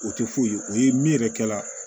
O tɛ foyi ye o ye min yɛrɛ kɛ la